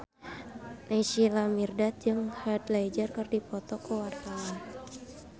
Naysila Mirdad jeung Heath Ledger keur dipoto ku wartawan